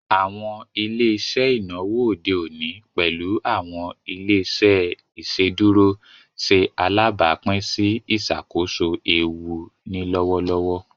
Awọn ile-iṣẹ inawo ode oni, pẹlu awọn ile-iṣẹ iṣeduro, ṣe alabapin si iṣakoso eewu ni lọwọlọwọ.